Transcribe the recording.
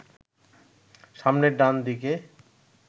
সামনের ডান দিকে